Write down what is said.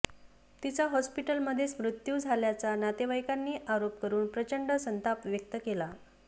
तिचा हॉस्पिटलमध्येच मृत्यू झाल्याचा नातेवाईकांनी आरोप करून प्रचंड संताप व्यक्त केला